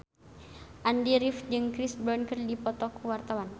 Andy rif jeung Chris Brown keur dipoto ku wartawan